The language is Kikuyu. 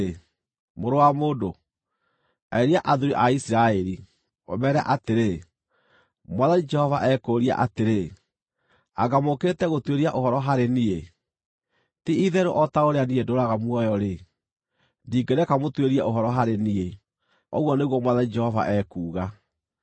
“Mũrũ wa mũndũ, arĩria athuuri a Isiraeli, ũmeere atĩrĩ, ‘Mwathani Jehova ekũũria atĩrĩ: Anga mũũkĩte gũtuĩria ũhoro harĩ niĩ? Ti-itherũ o ta ũrĩa niĩ ndũũraga muoyo-rĩ, ndingĩreka mũtuĩrie ũhoro harĩ niĩ, ũguo nĩguo Mwathani Jehova ekuuga.’